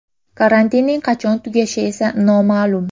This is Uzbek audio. Karantinning qachon tugashi esa noma’lum.